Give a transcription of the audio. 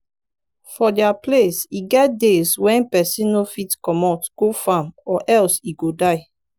for dia place e get days when person no fit comot go farm or else e go die